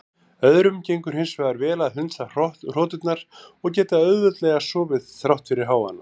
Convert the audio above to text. Öðrum gengur hins vegar vel að hundsa hroturnar og geta auðveldlega sofið þrátt fyrir hávaðann.